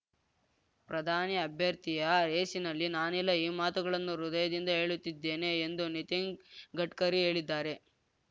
ಪ್ರಧಾನಿ ಅಭ್ಯರ್ಥಿಯ ರೇಸಿನಲ್ಲಿ ನಾನಿಲ್ಲ ಈ ಮಾತುಗಳನ್ನು ಹೃದಯದಿಂದ ಹೇಳುತ್ತಿದ್ದೇನೆ ಎಂದು ನಿತನ್ ಗಡ್ಕರಿ ಹೇಳಿದ್ದಾರೆ